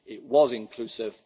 NGOs. It was inclusive.